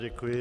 Děkuji.